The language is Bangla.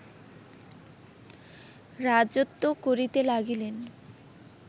রাজত্ব করিতে লাগিলেন